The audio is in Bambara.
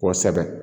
Kosɛbɛ